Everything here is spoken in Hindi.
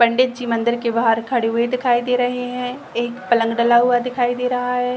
पंडित जी मंदिर के बाहर खड़े हुए दिखाई दे रहे हैं एक पलंग डला हुआ दिखाई दे रहा है।